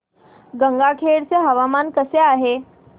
गंगाखेड चे हवामान कसे आहे